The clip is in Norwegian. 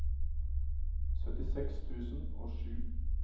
syttiseks tusen og sju